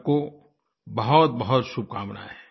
सबको बहुतबहुत शुभकामनाएँ